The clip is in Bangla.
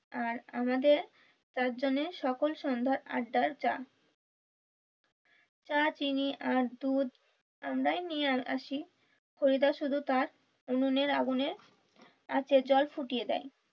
আর আমাদের চার জনের সকল সন্ধ্যার আড্ডার চা চা চিনি আর দুধ আমরাই নিয়ে আহ আসি হরিদা শুধু তার উনুনের আগুনের আঁচে জল ফুটিয়ে দেয়।